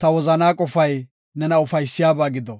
ta wozanaa qofay nena ufaysiyabaa gido.